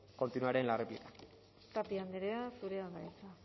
continuaré en la réplica tapia andrea zurea da hitza